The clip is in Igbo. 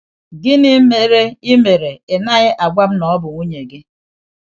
Gịnị mere ị mere ị naghị agwa m na ọ bụ nwunye gị?